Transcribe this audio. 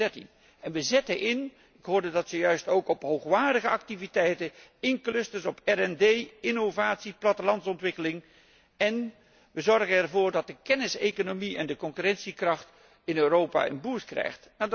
2013. We zetten in ik hoorde dat zojuist ook op hoogwaardige activiteiten, zoals clusters, OO, innovatie, plattelandsontwikkeling, en we zorgen ervoor dat de kenniseconomie en de concurrentiekracht in Europa een boost krijgt.